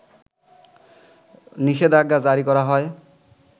নিষেধাজ্ঞা জারি করা হয়